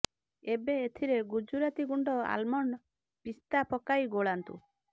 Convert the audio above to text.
ଏବେ ଏଥିରେ ଗୁଜୁରାତି ଗୁଣ୍ଡ ଆଲମଣ୍ଡ ପିସ୍ତା ପକାଇ ଗୋଳାନ୍ତୁ